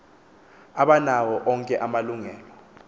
abanawo onke amalungelo